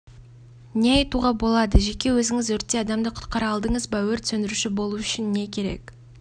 не айтуға болады жеке өзіңіз өртте адамды құтқара алдыңыз ба өрт сөндіруші болу үшін не керек